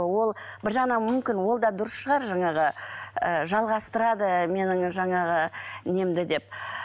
ол бір жағынан мүмкін ол да дұрыс шығар жаңағы ы жалғастырады менің жаңағы немді деп